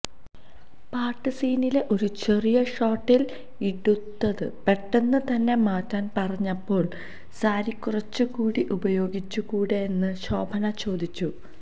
പാട്ട് സീനിലെ ഒരു ചെറിയ ഷോട്ടില് ഇതുടുത്ത് പെട്ടന്ന് തന്നെ മാറ്റാന് പറഞ്ഞപ്പോള് സാരികുറച്ച്കൂടെ ഉപയോഗിച്ചുകൂടെയെന്ന് ശോഭന ചോദിച്ചു